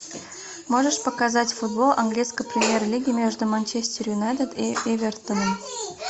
можешь показать футбол английской премьер лиги между манчестер юнайтед и эвертоном